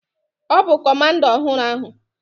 Ọ bụ comanda ọhụrụ ahụ.